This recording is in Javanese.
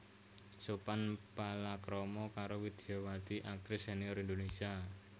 Sophan palakrama karo Widyawati aktris sénior Indonésia